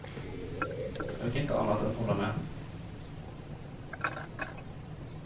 Jag kan inte annat än hålla med.